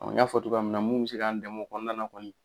Ɔ n y'a fɔ cogoya minna mun bɛ se k'an dɛmɛ o kɔnɔna kɔni